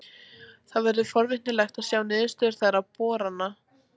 Verður forvitnilegt að sjá niðurstöður þeirra borana.